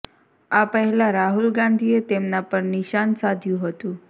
આ પહેલા રાહુલ ગાંધીએ તેમના પર નિશાન સાધ્યું હતું